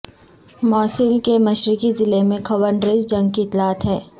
موصل کے مشرقی ضلع میں خونریز جنگ کی اطلاعات ہیں